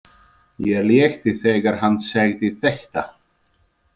Mér létti þegar hann sagði þetta.